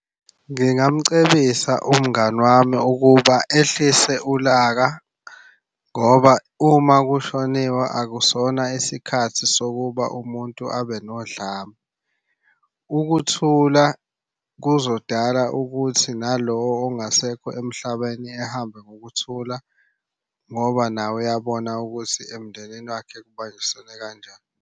Ngingamcebisa umngani wami ukuba ehlise ulaka, ngoba uma kushoniwe akusona isikhathi sokuba umuntu abe nodlame. Ukuthula kuzodala ukuthi nalo ongasekho emhlabeni ehambe ngokuthula ngoba naye uyabona ukuthi emndenini wakhe kubanjisenwe kanjani.